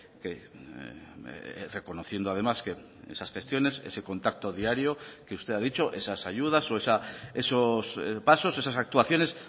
que reconociendo además que esas gestiones ese contacto diario que usted ha dicho esas ayudas o esos pasos esas actuaciones